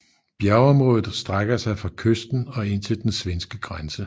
Bjergområdet strækker sig fra kysten og ind til den svenske grænse